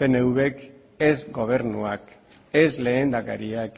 pnvk ez gobernuak ez lehendakariak